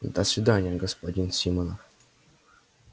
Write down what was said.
до свидания господин симонов